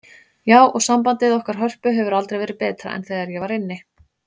Já, og sambandið okkar Hörpu hefur aldrei verið betra en þegar ég var inni.